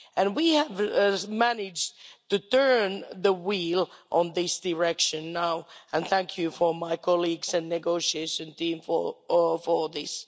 We have managed to turn the wheel in this direction now, and thank you for my colleagues and negotiation team for all this.